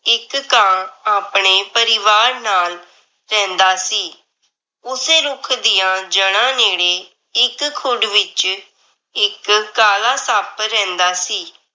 ਇੱਕ ਕਾਂ ਆਪਣੇ ਪਰਿਵਾਰ ਨਾਲ ਰਹਿੰਦਾ ਸੀ। ਉਸੇ ਰੁੱਖ ਦੀਆਂ ਜੜ੍ਹਾ ਨੇੜੇ ਇੱਕ ਖੁੱਡ ਵਿਚ ਇੱਕ ਕਾਲਾ ਸੱਪ ਰਹਿੰਦਾ ਸੀ।